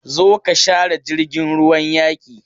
Zo ka share jirgin ruwan yaki!